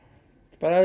bara